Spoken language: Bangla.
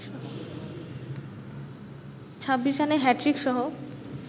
২৬ রানে হ্যাটট্রিকসহ